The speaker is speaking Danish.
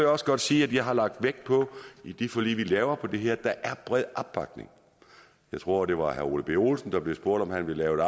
også godt sige at jeg har lagt vægt på i de forlig vi laver på det her område at der er bred opbakning jeg tror det var herre ole birk olesen der blev spurgt om han ville lave